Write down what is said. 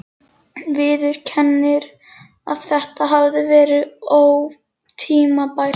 Viðurkennir að þetta hafi verið ótímabært.